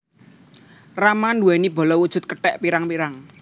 Rama nduwèni bala wujud kethèk pirang pirang